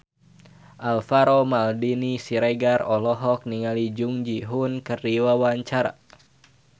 Alvaro Maldini Siregar olohok ningali Jung Ji Hoon keur diwawancara